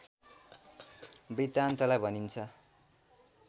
वृतान्तलाई भनिन्छ